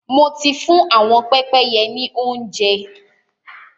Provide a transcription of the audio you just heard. Mo ti fún ạ̀wọn pẹ́pẹ́yẹ ní óuńjẹ.